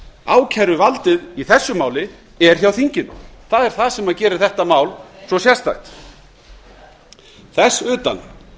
ákæruvaldið í þessu máli er hjá þinginu það er það sem gerir þetta mál svo sérstakt þess utan